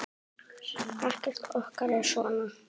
Ekkert okkar er svona.